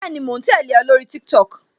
Bẹẹni, mo ń tẹle o, lórí TikTok